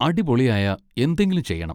അടിപൊളിയായ എന്തെങ്കിലും ചെയ്യണം.